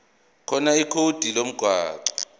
khona ikhodi lomgwaqo